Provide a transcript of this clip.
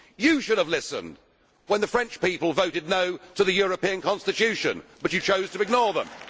You should have listened when the French people voted No' to the European constitution, but you chose to ignore them.